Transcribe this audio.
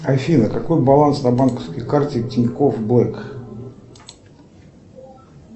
афина какой баланс на банковской карте тинькофф блэк